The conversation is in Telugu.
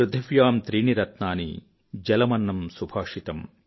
పృథివ్యాం త్రీణి రత్నాని జలమన్నం సుభాషితం